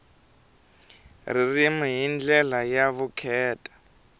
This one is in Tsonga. ririmi hi ndlela ya vukheta